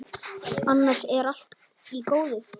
Annars er allt í góðu.